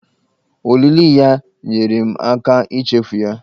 Olili ya nyeere m aka ichefu ya.